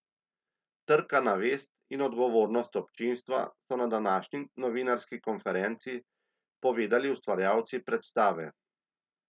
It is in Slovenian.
Trka na vest in odgovornost občinstva, so na današnji novinarski konferenci povedali ustvarjalci predstave.